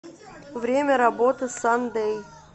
время работы сандэй